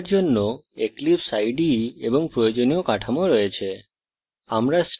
এখানে বাকি code জন্য eclipse ide এবং প্রয়োজনীয় কাঠামো রয়েছে